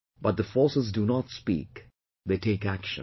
But, the forces do not speak, they take action